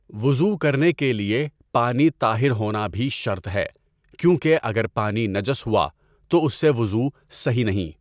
وضوء کرنے کے لیے پانی طاہر ہونا بھی شرط ہے، کیونکہ اگر پانی نجس ہوا تو اس سے وضوء صحیح نہیں.